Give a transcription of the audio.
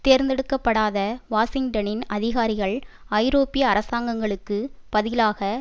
தேர்ந்தெடுக்க படாத வாஷிங்டனின் அதிகாரிகள் ஐரோப்பிய அரசாங்கங்களுக்கு பதிலாக